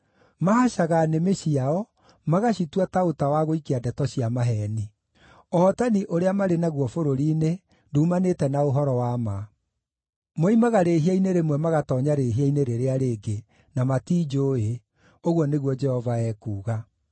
“Mahacaga nĩmĩ ciao magacitua ta ũta wa gũikia ndeto cia maheeni. Ũhootani ũrĩa marĩ naguo bũrũri-inĩ, nduumanĩte na ũhoro wa ma. Moimaga rĩĩhia-inĩ rĩmwe magatoonya rĩĩhia-inĩ rĩrĩa rĩngĩ; na matinjũũĩ,” ũguo nĩguo Jehova ekuuga.